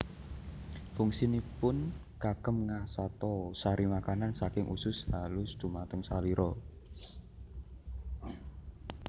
Fungsinipun kagem ngasata sari makanan saking usus halus dumateng salira